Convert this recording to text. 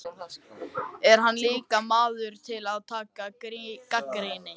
En hann er líka maður til að taka gagnrýni.